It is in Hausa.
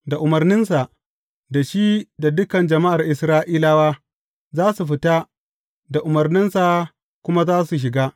Da umarninsa, da shi da dukan jama’ar Isra’ilawa za su fita, da umarninsa kuma za su shiga.